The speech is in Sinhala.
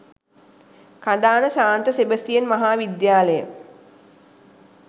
කඳාන සාන්ත සෙබස්තියන් මහා විද්‍යාලය.